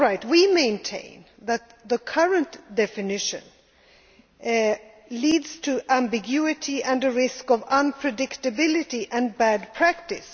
We maintain that the current definition leads to ambiguity and a risk of unpredictability and bad practice.